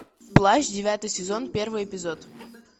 плащ девятый сезон первый эпизод